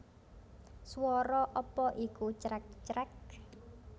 Swara apa iku crek crek